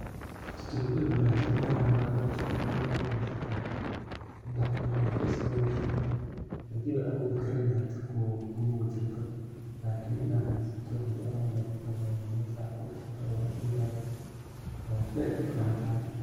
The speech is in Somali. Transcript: Strawberry wey wanag santahay inaa malinki laba ama sedex ina cunto wey iska wanag santahy ,hadi aaba awodhi karina kumaba jirto . Lakin hada heysato inaa kujirto wey wanag santahay ,waa zaid ay fican tahay.